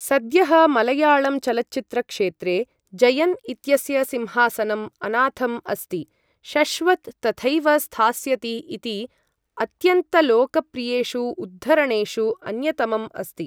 सद्यः मलयाळम् चलच्चित्रक्षेत्रे, जयन् इत्यस्य सिंहासनम् अनाथम् अस्ति, शश्वत् तथैव स्थास्यति इति अत्यन्तलोकप्रियेषु उद्धरणेषु अन्यतमम् अस्ति।